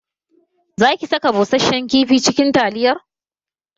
Za kisaka bushashen kifi cikin taliyar?